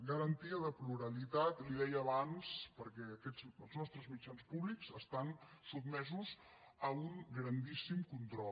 garantia de pluralitat li ho deia abans perquè els nostres mitjans públics estan sotmesos a un grandíssim control